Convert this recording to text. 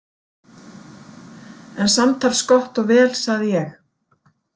En samtals Gott og vel, sagði ég.